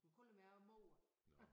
Hun kalder mig også mor